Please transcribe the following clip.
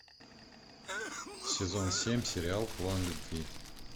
сезон семь сериал план любви